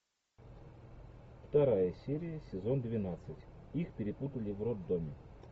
вторая серия сезон двенадцать их перепутали в роддоме